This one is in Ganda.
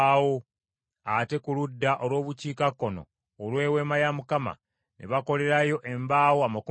Ate ku ludda olw’obukiikakkono olw’Eweema ne bakolerayo embaawo amakumi abiri,